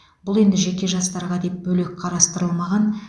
бұл енді жеке жастарға деп бөлек қарастырылмаған